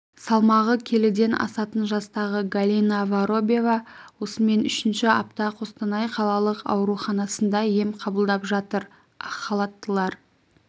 салмағы келіден асатын жастағы галина воробьева осымен үшінші апта қостанай қалалық ауруханасында ем қабылдап жатыр ақхалаттылар